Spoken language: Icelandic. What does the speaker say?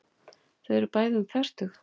Þau eru bæði um fertugt.